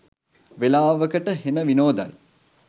වෙලාවකට හෙන විනෝදයි.